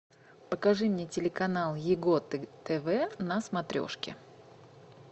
покажи мне телеканал его тв на смотрешке